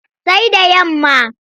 Sai da yamma.